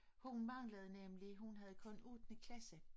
Hun manglede nemlig hun havde kun ottende klasse